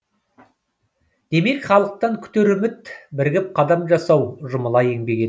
демек халықтан күтер үміт бірігіп қадам жасау жұмыла еңбек ету